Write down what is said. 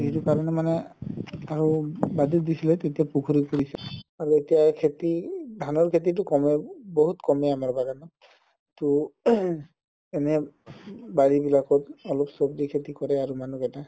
সেইটো কাৰণে মানে আৰু আৰু এতিয়া খেতি ধানৰ খেতিতো কমে বহুত কমে আমাৰ বাগানত তৌ throat এনে বাৰি বিলাকত অলপ সব্জি খেতি কৰে আৰু মানুহ কেইটা